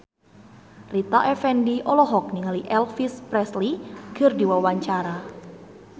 Rita Effendy olohok ningali Elvis Presley keur diwawancara